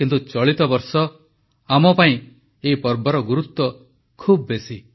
କିନ୍ତୁ ଚଳିତ ବର୍ଷ ଆମ ପାଇଁ ଏହି ପର୍ବର ଗୁରୁତ୍ୱ ଖୁବ ବେଶୀ